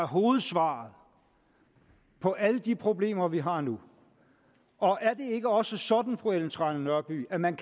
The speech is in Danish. hovedsvaret på alle de problemer vi har nu og er det ikke også sådan fru ellen trane nørby at man